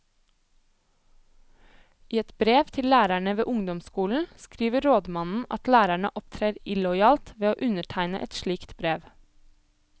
I et brev til lærerne ved ungdomsskolen skriver rådmannen at lærerne opptrer illojalt ved å undertegne et slikt brev.